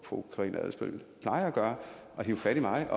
fru karina adsbøl plejer at gøre at hive fat i mig